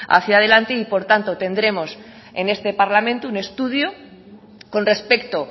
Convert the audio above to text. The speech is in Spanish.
hacia adelante y por tanto tendremos en este parlamento un estudio con respecto